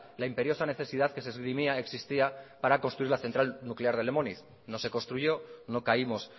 la imperiosa necesidad que se esgrimía existía para construir la central nuclear de lemoiz no se construyó no caímos